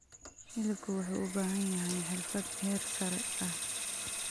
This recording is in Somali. Hilibku wuxuu u baahan yahay xirfad heer sare ah.